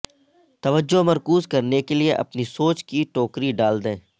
توجہ مرکوز کرنے کے لئے اپنی سوچ کی ٹوکری ڈال دیں